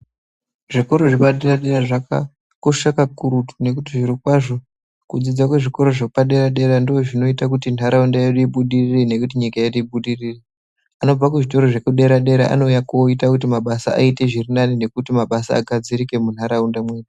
Zvikora zvepadera dera zvakakosha kakurutu nekuti zviro kwazvo kudzidza kwezvikora zvepadera zvinoita kuti nharaunda yedu ibudirire nenyika yedu ibudirire .Anobva kuzvikora zvedera dera anouya koita kuti mabasa aite zviri nani nekuti mabasa agadzirike munharaunda mwedu.